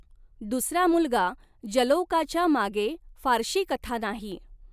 दुसरा मुलगा, जलौकाच्या मागे फारशी कथा नाही.